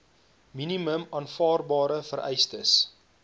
minimum aanvaarbare vereistes